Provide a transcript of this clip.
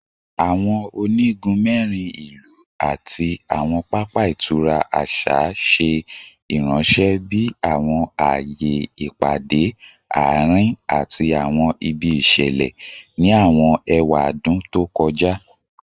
Awọn onigun mẹrin ilu ati awọn papa itura aṣa ṣe iranṣẹ bi awọn aaye ipade aarin ati awọn ibi iṣẹlẹ ni awọn ewadun to kọja